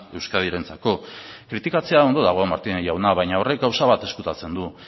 euskadirentzako kritikatzea ondo dago martínez jauna baina horrek gauza bat ezkutatzen du